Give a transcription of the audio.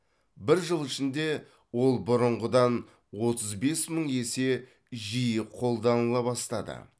бір жыл ішінде ол бұрынғыдан отыз бес мың есе жиі қолданыла бастады